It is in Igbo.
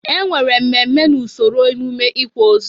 E nwere mmemme n'usoro emume ịkwa ozu.